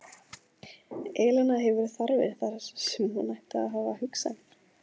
Elena hefur þarfir þar sem hún ætti að hafa hugsanir.